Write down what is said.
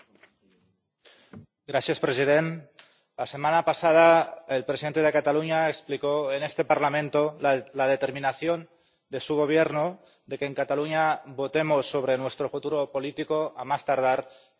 Señor presidente, la semana pasada el presidente de Cataluña explicó en este Parlamento la determinación de su Gobierno de que en Cataluña votemos sobre nuestro futuro político a más tardar este septiembre.